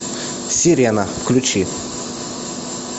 сирена включи